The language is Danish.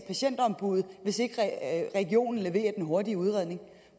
patientombuddet hvis ikke regionen leverer den hurtige udredning